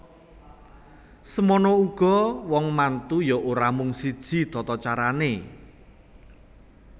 Semana uga wong mantu ya ora mung siji tatacarane